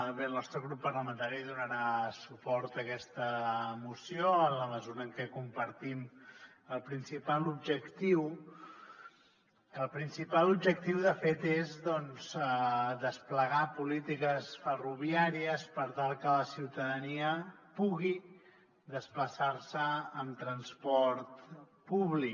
bé el nostre grup parlamentari donarà suport a aquesta moció en la mesura en què compartim el principal objectiu que el principal objectiu de fet és doncs desplegar polítiques ferroviàries per tal que la ciutadania pugui desplaçar se en transport públic